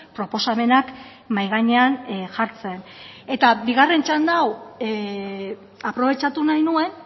proposamenak mahai gainean jartzen eta bigarren txanda hau aprobetxatu nahi nuen